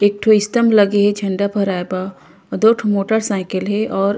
एकठो स्तम्भ लगे हे झंडा फहराए बर अउ दो ठन मोटर साइकल हे और --